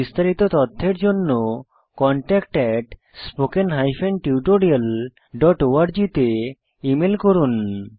বিস্তারিত তথ্যের জন্য contactspoken tutorialorg তে ইমেল করুন